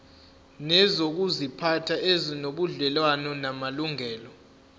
nezokuziphatha ezinobudlelwano namalungelo